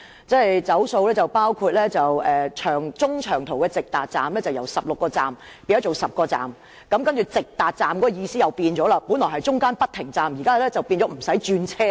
"走數"範圍包括中長途的直達站由16個變為10個，而直達站的意思亦改變了，本來是指中途不停站，現在則變成無需轉車。